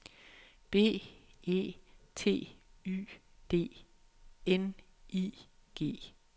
B E T Y D N I G